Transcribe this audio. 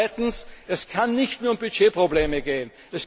Und zweitens, es kann nicht nur um Budgetprobleme gehen.